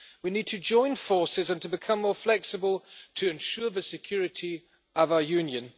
We need to join forces and to become more flexible to ensure the security of our Union.